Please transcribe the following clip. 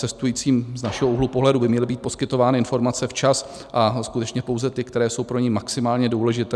Cestujícím z našeho úhlu pohledu by měly být poskytovány informace včas a skutečně pouze ty, které jsou pro ně maximálně důležité.